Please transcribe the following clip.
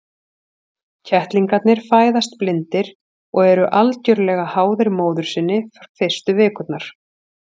Kettlingarnir fæðast blindir og eru algjörlega háðir móður sinni fyrstu vikurnar.